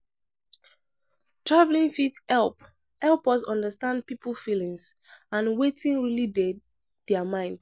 Traveling fit help help us undrstand pipo feelings and wetin really dey dier mind